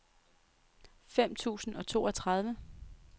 fem tusind og toogtredive